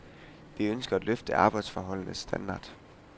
Vi ønsker at løfte arbejdsforholdenes standard.